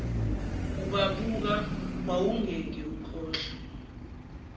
ubabuka wawungeke ukhohlwe